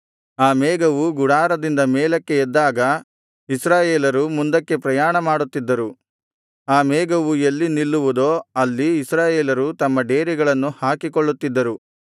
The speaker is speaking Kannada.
ಆ ಮೇಘವು ಗುಡಾರದಿಂದ ಮೇಲಕ್ಕೆ ಎದ್ದಾಗ ಇಸ್ರಾಯೇಲರು ಮುಂದಕ್ಕೆ ಪ್ರಯಾಣಮಾಡುತ್ತಿದ್ದರು ಆ ಮೇಘವು ಎಲ್ಲಿ ನಿಲ್ಲುವುದೋ ಅಲ್ಲಿ ಇಸ್ರಾಯೇಲರು ತಮ್ಮ ಡೇರೆಗಳನ್ನು ಹಾಕಿಕೊಳ್ಳುತ್ತಿದ್ದರು